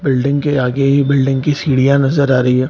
Building के आगे ही बिल्डिंग की सीड़ीयां नजर आ रही है।